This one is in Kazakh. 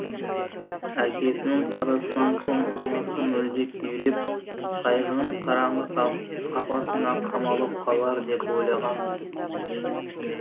әкесінің қазасынан соң анасы мүлде күйреп қайғының қараңғы қапасына қамалып қалар деп ойлаған